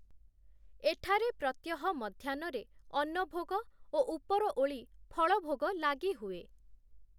ଏଠାରେ ପ୍ରତ୍ୟହ ମଧ୍ୟାହ୍ନରେ ଅନ୍ନଭୋଗ ଓ ଉପରଓଳି ଫଳଭୋଗ ଲାଗି ହୁଏ ।